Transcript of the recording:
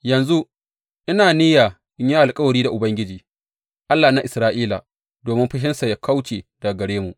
Yanzu ina niyya in yi alkawari da Ubangiji, Allah na Isra’ila, domin fushinsa yă kauce daga gare mu.